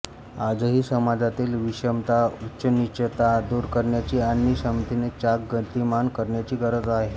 आजही समाजातील विषमता उच्चनीचता दूर करण्याची आणि समतेचे चाक गतिमान करण्याची गरज आहे